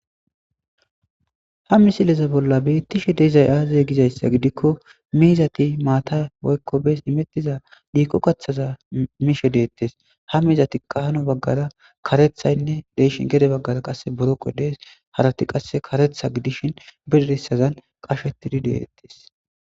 Ha misileza bolla beettishe deeizay aaze gizayssa gidikko miizati maata woykko bees imettiza dhiikko kaththaza miishe deettes ha miizati qaano baggara karethaynne deeshin gede baggara qasse boroqo dees harati qasse karetha gidishin bidirissazan qashetidi deettes.